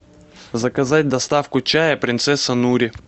заказать доставку чая принцесса нури